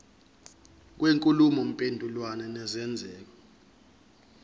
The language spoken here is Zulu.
kwenkulumo mpendulwano nesenzeko